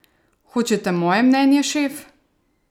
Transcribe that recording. Hočete moje mnenje, šef?